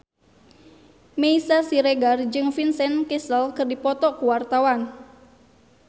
Meisya Siregar jeung Vincent Cassel keur dipoto ku wartawan